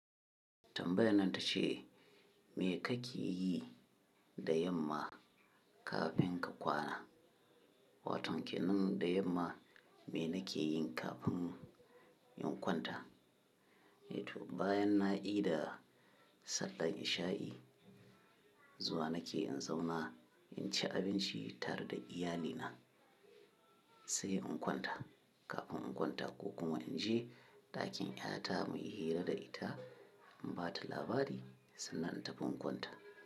Tambayan nata ce, me kake yi da yamma kafin ka kwana? Waton kenan da yamma me na ke yin kafin in kwanta. Bayan na ida sallar isha'i, zuwa na ke in zauna in ci abinci tare da iyalina, sai in kwanta. Kafin in kwanta ko kuma in je ɗakin ƴata mu yi hira da ita, in ba ta labari sannan in tafi in kwanta.